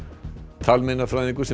talmeinafræðingur sem